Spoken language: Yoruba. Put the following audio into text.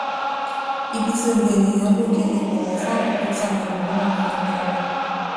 ibi tí gbogbo ènìyàn n lò kí n lè bọwọ fún àkókò tí àwọn ẹlòmíràn fi ń dá wà